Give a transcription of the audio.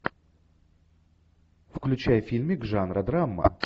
включай фильмик жанра драма